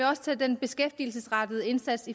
også tager den beskæftigelsesrettede indsats